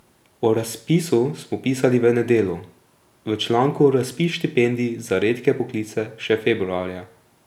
O razpisu smo pisali v Nedelu v članku Razpis štipendij za redke poklice še februarja.